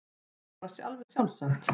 Það var bara alveg sjálfsagt.